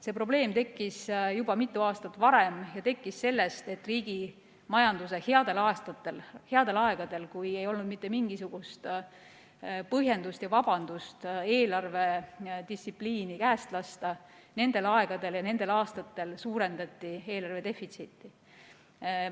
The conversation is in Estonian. See probleem tekkis juba mitu aastat varem ja tekkis seetõttu, et riigi majanduse headel aastatel, headel aegadel, kui ei olnud mitte mingisugust põhjendust ja vabandust eelarvedistsipliini käest lasta, nendel aegadel ja nendel aastatel suurendati eelarve defitsiiti.